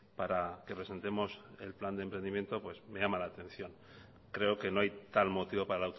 para que presentemos el plan de emprendimiento pues me llama la atención creo que no hay tal motivo para